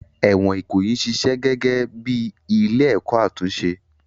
Ẹ̀wọ̀n Ikoyi ń ṣiṣẹ́ gẹ́gẹ́ bí ilé-ẹ̀kọ́ àtúnṣe